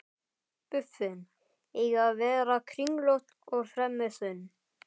Buffin eiga að vera kringlótt og fremur þunn.